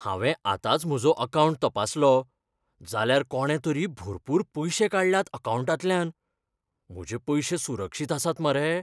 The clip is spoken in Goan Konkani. हांवें आतांच म्हजो अकावंट तपासलो, जाल्यार कोणे तरी भरपूर पयशे काडल्यात अकावंटांतल्यान. म्हजे पयशे सुरक्षीत आसात मरे?